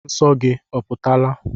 Nsọ gị oputala?